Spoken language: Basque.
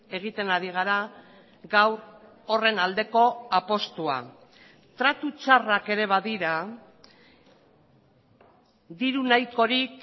egiten ari gara gaur horren aldeko apustua tratu txarrak ere badira diru nahikorik